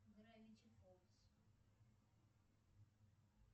гравити фолз